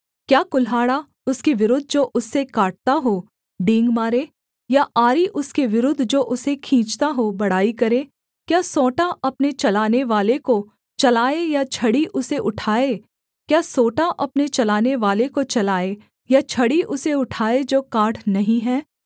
क्या कुल्हाड़ा उसके विरुद्ध जो उससे काटता हो डींग मारे या आरी उसके विरुद्ध जो उसे खींचता हो बड़ाई करे क्या सोंटा अपने चलानेवाले को चलाए या छड़ी उसे उठाए जो काठ नहीं है